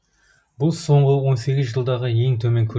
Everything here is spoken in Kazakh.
бұл соңғы он сегіз жылдағы ең төмен